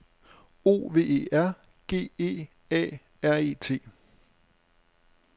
O V E R G E A R E T